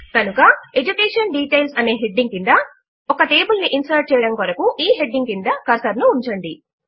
కనుక education details అనే heading క్రింద ఒక టేబుల్ ను ఇన్సర్ట్ చేయడము కొరకు ఈ హెడింగ్ క్రింద కర్సర్ ను ఉంచండి